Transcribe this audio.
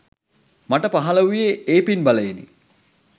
මට පහළ වූයේ ඒ පින් බලයෙනි.